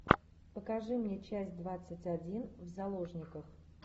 покажи мне часть двадцать один в заложниках